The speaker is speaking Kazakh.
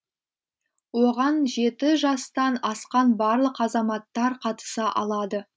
оған жеті жастан асқан барлық азаматтар қатыса алады